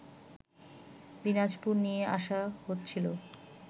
দিনাজপুর নিয়ে আসা হচ্ছিল